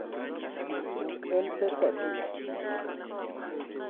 buk en pesadi?